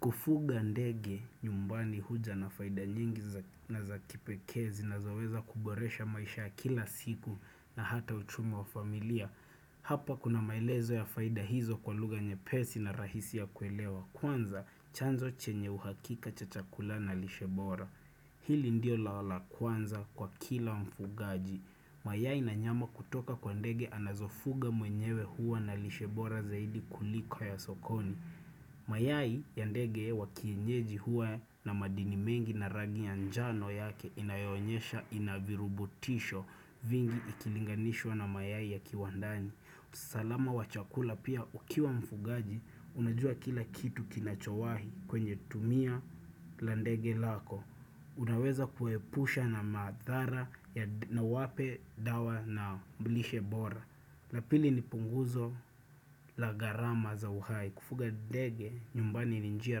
Kufuga ndege nyumbani huja na faida nyingi na za kipekee zinazoweza kuboresha maisha ya kila siku na hata uchumi wa familia. Hapa kuna maelezo ya faida hizo kwa lugha nyepesi na rahisi ya kuelewa. Kwanza chanzo chenye uhakika cha chakula na lishe bora. Hili ndio lao la kwanza kwa kila mfugaji. Mayai na nyama kutoka kwa ndege anazofuga mwenyewe huwa na lishebora zaidi kuliko ya sokoni. Mayai ya ndege wa kienyeji huwa na madini mengi na rangi ya njano yake inayonyesha ina virubutisho vingi ikilinganishwa na mayai ya kiwandani usalama wa chakula pia ukiwa mfugaji unajua kila kitu kinachowahi kwenye tumia la ndege lako Unaweza kuepusha na madhara na uwape dawa na lishe bora na pili ni punguzo la gharama za uhai. Kufuga ndege, nyumbani ni njia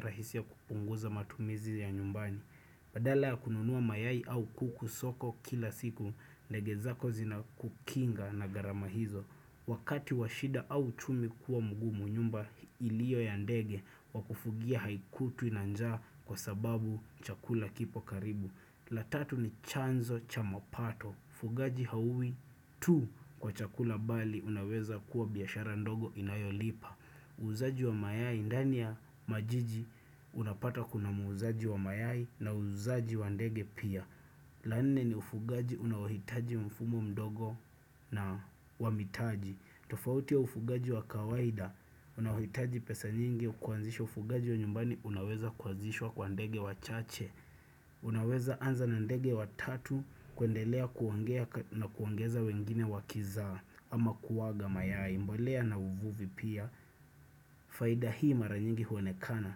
rahisi ya kupunguza matumizi ya nyumbani. Badala ya kununua mayai au kuku soko kila siku, ndege zako zinakukinga na gharama hizo. Wakati wa shida au uchumi kuwa mgumu, nyumba iliyo ya ndege wa kufugia haikutwi na njaa kwa sababu chakula kipo karibu. La tatu ni chanzo cha mapato mfugaji hauwi tu kwa chakula bali unaweza kuwa biashara ndogo inayolipa uuzaji wa mayai ndani ya majiji unapata kuna muuzaji wa mayai na muuzaji wa ndege pia la nne ni ufugaji unaohitaji mfumo mdogo na wa mitaji tofauti ya ufugaji wa kawaida unaohitaji pesa nyingi kwanzisha ufugaji wa nyumbani unaweza kuanzishwa kwa ndege wachache Unaweza anza na ndege watatu kuendelea kuongea na kuongeza wengine wakizaa ama kuaga mayai mbolea na uvuvi pia faida hii mara nyingi huonekana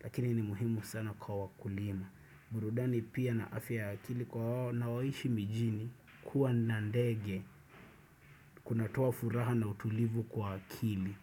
lakini ni muhimu sana kwa wakulima burudani pia na afya ya akili kwa wanao na waishi mijini kuwa na ndege kunatoa furaha na utulivu kwa akili.